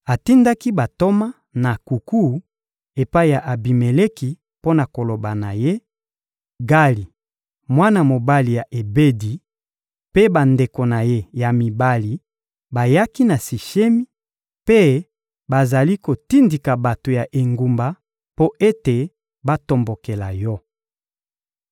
Atindaki bantoma na nkuku epai ya Abimeleki mpo na koloba na ye: «Gali, mwana mobali ya Ebedi, mpe bandeko na ye ya mibali bayaki na Sishemi, mpe bazali kotindika bato ya engumba mpo ete batombokela yo.